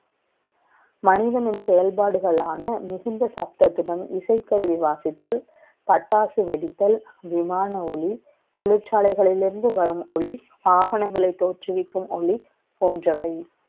மனிதனின் செ யல்பாடுகளான, மிகுந்த சப்தத்துடன், இசை க்கருவி வாசித்தல், பட்டாசு வெ டித்தல், விமான ஒலி, த ொழிற்சாலை களில் இருந்து வரும் ஒலி, ஆவணங்களை த ோற்றுவிக்கும் ஒளி, ப ோன்றவை.